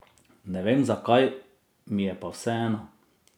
Ne vem zakaj, mi je pa vseeno.